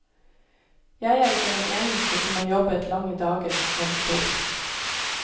Jeg er ikke den eneste som har jobbet lange dager, må du tro.